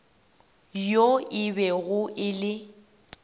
yo e bego e le